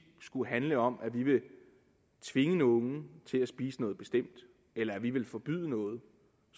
skulle handle om at vi vil tvinge nogen til at spise noget bestemt eller at vi vil forbyde noget